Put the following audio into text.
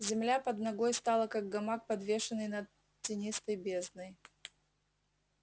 земля под ногой стала как гамак подвешенный над тинистой бездной